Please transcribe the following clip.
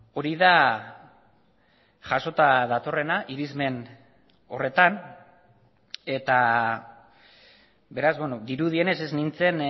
hori da jasota datorrena irizmen horretan eta beraz dirudienez ez nintzen